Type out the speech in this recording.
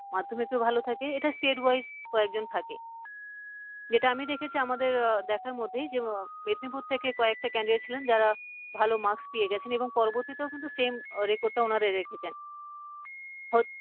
মাধ্যমিকেও ভালো থাকে এটা state wise কয়েকজন থাকে। যেটা আমি দেখেছি আমাদের দেখার মধ্যেই যে মেদিনীপুর থেকে কয়েকটা candidate ছিলেন যারা ভালো marks পেয়ে গেছেন এবং পরবর্তীতেও কিন্তু same record টা ওনারা রেখেছেন